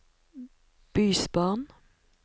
bysbarn